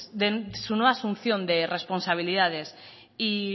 de su nueva asunción de responsabilidades y